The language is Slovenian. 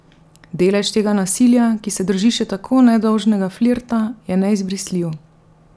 Delež tega nasilja, ki se drži še tako nedolžnega flirta, je neizbrisljiv.